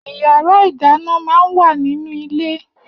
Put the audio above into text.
Iyàrá idàná mà n wá ninú ilé